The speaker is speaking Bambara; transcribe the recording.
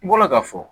N bɔra ka fɔ